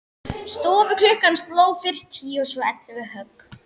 Stofuklukkan sló fyrst tíu og svo ellefu högg.